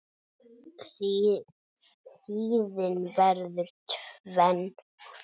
Tíðin verður tvenn og þrenn